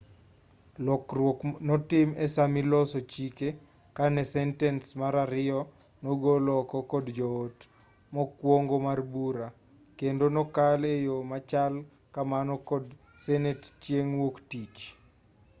lokruok notim esaamaniloso chike kane sentens mar ariyo nogol oko kod jo-ot mokwongo mar bura kendo nokal eyo machal kamano kod senet chieng' wuok-tich